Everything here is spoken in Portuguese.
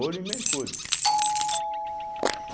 Ouro e mercúrio.